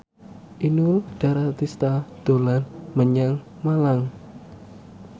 Inul Daratista dolan menyang Malang